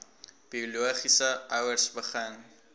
biologiese ouers begin